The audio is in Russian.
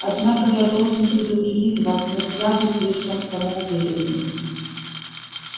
однако я должен предупредить вас нельзя быть слишком самоуверенными